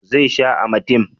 zai sha amatem?